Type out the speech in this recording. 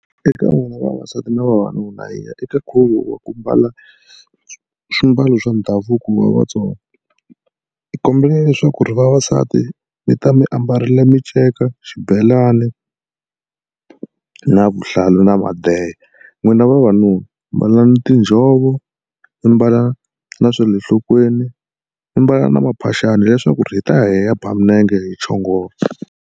Eka n'wina vavasati na vavanuna hi ya eka nkhuvo wa ku mbala swimbalo swa ndhavuko wa Vatsonga. Ni kombela leswaku ri vavasati mi ta mi ambarile minceka, xibelani na vuhlalu na madeha. N'wina vavanuna mbala tinjhovo mi mbala na swa le nhlokweni mi mbala na maphaxani leswaku hi ta ya hi ya ba milenge hi chongola.